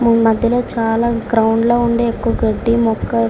మధ్యలో చాలా గ్రౌండ్ లో ఉండే ఎక్కువ గడ్డి మొక్కలు --